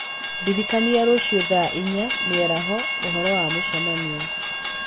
ndiririkania rũciũ thaa inya mĩaraho ũhoro wa mũcemanio.